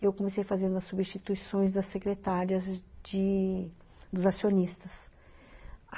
Eu comecei fazendo as substituições das secretárias de dos acionistas.